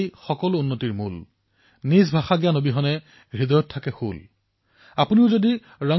বন্ধুসকল গুৰুত্বপূৰ্ণ কৰা এয়েই যে ৰাষ্ট্ৰসংঘই ২০১৯ চনক অৰ্থাৎ চলিত বৰ্ষক আন্তঃৰাষ্ট্ৰীয় স্থানীয় ভাষাৰ বৰ্ষ হিচাপে ঘোষিত কৰিছে